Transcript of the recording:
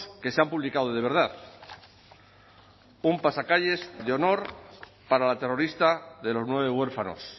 que se han publicado de verdad un pasacalles de honor para la terrorista de los nueve huérfanos